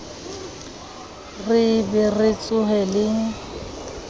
re be re tsohe le